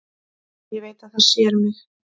Ég veit að það sér mig.